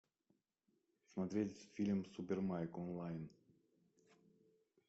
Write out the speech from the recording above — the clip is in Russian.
смотреть фильм супер майк онлайн